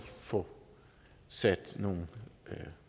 få sat nogle